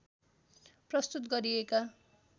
प्रस्तुत गरिएका